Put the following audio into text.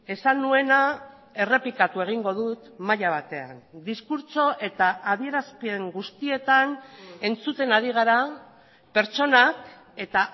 esan nuena errepikatu egingo dut maila batean diskurtso eta adierazpen guztietan entzuten ari gara pertsonak eta